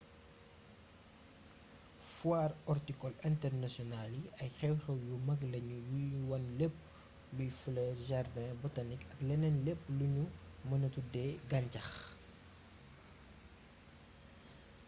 foire ortikol internasional yi ay xew-xew yu mag lañu yuy wane lépp luy flër jardin botanik ak leneen lépp luñu mëna tuddee gàñcax